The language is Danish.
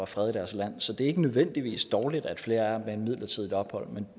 fred i deres land så det er ikke nødvendigvis dårligt at flere er midlertidigt ophold